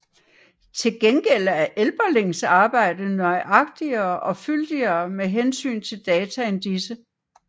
Til gengæld er Elberlings arbejde nøjagtigere og fyldigere med hensyn til data end disse